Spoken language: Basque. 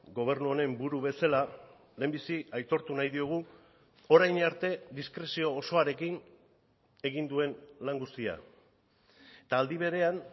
gobernu honen buru bezala lehenbizi aitortu nahi diogu orain arte diskrezio osoarekin egin duen lan guztia eta aldi berean